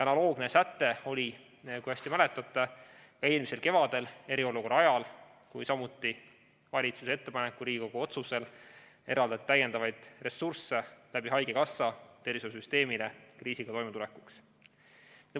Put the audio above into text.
Analoogne säte oli, nagu te hästi mäletate, eelmisel kevadel eriolukorra ajal, kui samuti valitsuse ettepanekul ja Riigikogu otsusel eraldati tervishoiusüsteemile haigekassa kaudu täiendavaid ressursse kriisiga toimetulekuks.